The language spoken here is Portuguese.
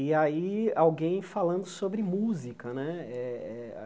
E aí alguém falando sobre música, né? eh eh